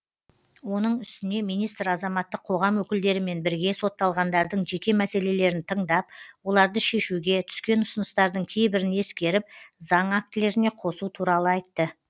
оның үстіне министр азаматтық қоғам өкілдерімен бірге сотталғандардың жеке мәселелерін тыңдап оларды шешуге түскен ұсыныстардың кейбірін ескеріп заң актілеріне қосу туралы айтты